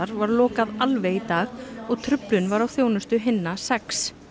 var lokað alveg í dag og truflun var á þjónustu hinna sex